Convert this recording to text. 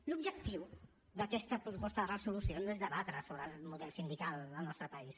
l’objectiu d’aquesta proposta de resolució no és debatre sobre el model sindical al nostre país